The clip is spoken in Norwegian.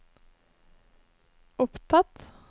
opptatt